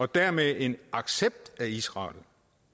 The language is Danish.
dermed en accept af israel